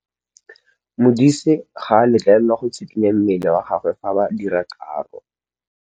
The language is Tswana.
Modise ga a letlelelwa go tshikinya mmele wa gagwe fa ba dira karô.